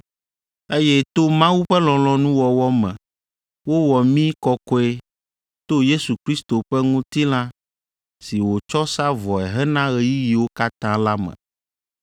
Eye to Mawu ƒe lɔlɔ̃nuwɔwɔ me wowɔ mí kɔkɔe to Yesu Kristo ƒe ŋutilã si wòtsɔ sa vɔe hena ɣeyiɣiwo katã la me.